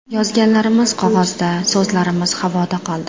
Yozganlarimiz qog‘ozda, so‘zlarimiz havoda qoldi.